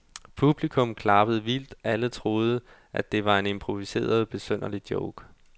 Publikum klappede vildt, alle troede, at det var en improviseret, besynderlig joke.